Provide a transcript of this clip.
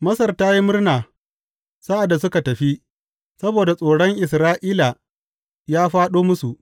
Masar ta yi murna sa’ad da suka tafi, saboda tsoron Isra’ila ya fāɗo musu.